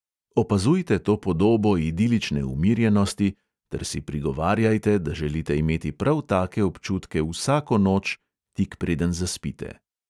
Opazujte to podobo idilične umirjenosti ter si prigovarjajte, da želite imeti prav take občutke vsako noč, tik preden zaspite.